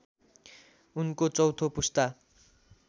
उनको चौथो पुस्ता